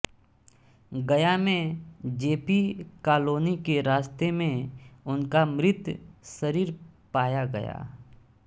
गया में J P colony के रास्ते में उनका मृत शरीर पाया गया